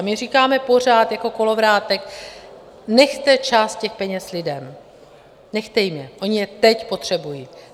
A my říkáme pořád jako kolovrátek: nechte část těch peněz lidem, nechte jim je, oni je teď potřebují.